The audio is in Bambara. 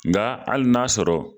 Nka hali n'a sɔrɔ